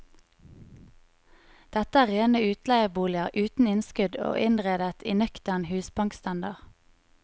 Dette er rene utleieboliger uten innskudd og innredet i nøktern husbankstandard.